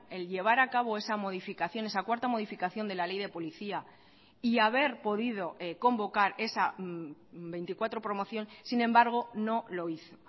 el llevar a cabo esa modificación esa cuarta modificación de la ley de policía y haber podido convocar esa veinticuatro promoción sin embargo no lo hizo